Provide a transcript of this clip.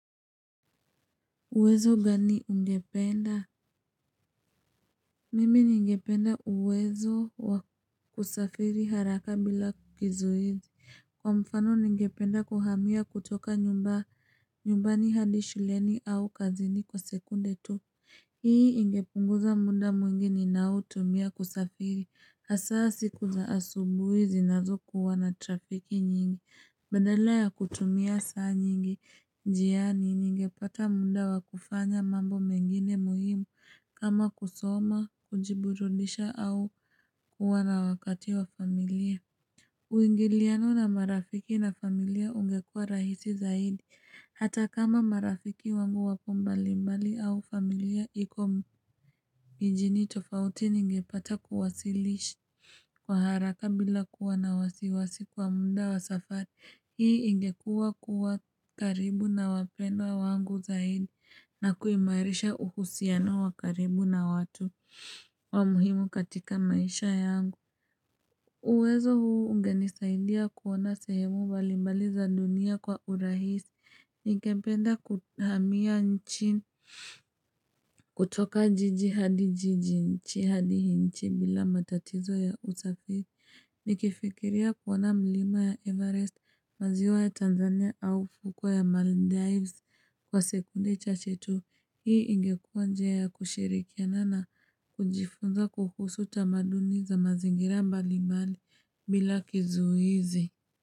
Uwezo gani ungependa? Mimi ningependa uwezo wa kusafiri haraka bila kizuizi. Kwa mfano ningependa kuhamia kutoka nyumbani hadi shuleni au kazini kwa sekunde tu. Hii ingepunguza muda mwingi ninaotumia kusafiri. Hasa siku za asubuhi zinazokuwa na trafiki nyingi. Badala ya kutumia saa nyingi, njiani ningepata muda wa kufanya mambo mengine muhimu kama kusoma, kujiburudisha au kuwa na wakati wa familia. Uingiliano na marafiki na familia ungekuwa rahisi zaidi, hata kama marafiki wangu wapo mbalimbali au familia iko mijini tofauti ningepata kuwasilishi kwa haraka bila kuwa na wasiwasi kwa muda wa safari. Hii ingekuwa kuwa karibu na wapendwa wangu zaidi na kuimairisha uhusiano wa karibu na watu wa muhimu katika maisha yangu. Uwezo huu ungenisaidia kuona sehemu mbalimbali za dunia kwa urahisi. Ningependa kuhamia nchi kutoka jiji hadi jiji nchi hadi nchi bila matatizo ya usafiri Nikifikiria kuona mlima ya Everest maziwa ya Tanzania au ufuko ya Maldives Kwa sekunde chache tu hii ingekuwa njia ya kushirikiana na kujifunza kuhusu tamaduni za mazingira mbali mbali bila kizuizi.